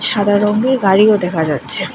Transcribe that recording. সাদা রঙের গাড়িও দেখা যাচ্ছে।